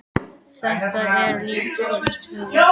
Þetta er líka skræpa segir hún.